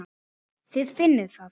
Þið finnið það?